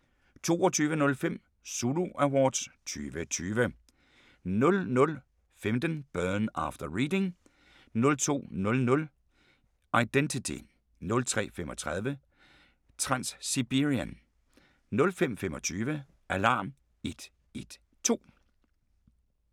22:05: Zulu Awards 2020 00:15: Burn after Reading 02:00: Identity 03:35: Transsiberian 05:25: Alarm 112